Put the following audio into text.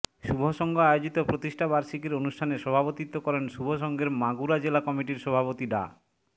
শুভ সংঘ আয়োজিত প্রতিষ্ঠাবার্ষিকীর অনুষ্ঠানে সভাপতিত্ব করেন শুভ সংঘের মাগুরা জেলা কমিটির সভাপতি ডা